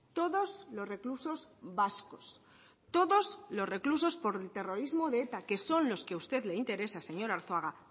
todos los reclusos vascos todos los reclusos por terrorismo de eta que son los que a usted le interesa señor arzuaga